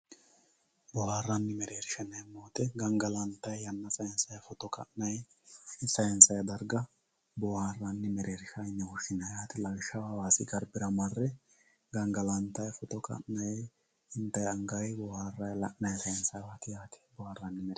Booharani mereersha yinemo woyite gangalantayi yana sansayi foto ka`nayi sayinsayi darga booharani merershati yine woshinayi yaate lawishshaho hawassi garbira mare gangalantayi foto ka`nayi intayi angayi boharay lanayi sansayiwati yaate boharani.